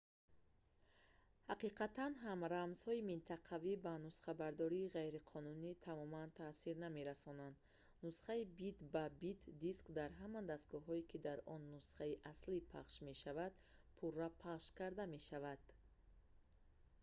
ҳақиқатан ҳам рамзҳои минтақавӣ ба нусхабардории ғайриқонунӣ тамоман таъсир намерасонанд нусхаи бит-ба-бити диск дар ҳама дастгоҳҳое ки дар он нусхаи аслӣ пахш мешавад пурра пахш карда мешавад